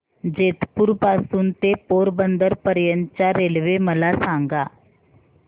जेतपुर पासून ते पोरबंदर पर्यंत च्या रेल्वे मला सांगा